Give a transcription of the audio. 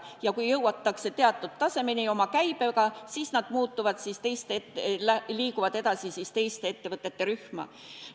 Ja kui käibega jõutakse teatud tasemeni, siis nad liiguvad edasi teiste ettevõtete rühma.